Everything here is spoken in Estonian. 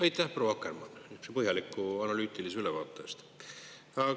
Aitäh, proua Akermann, niisuguse põhjaliku analüütilise ülevaate eest!